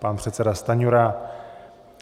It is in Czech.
Pan předseda Stanjura.